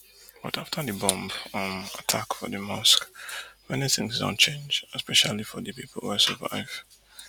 but afta di bomb um attack for di mosque many tins don change especially for di pipu wey survive